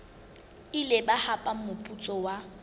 ile ba hapa moputso wa